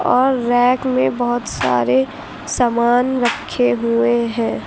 और रैक में बहुत सारे सामान रखे हुए हैं।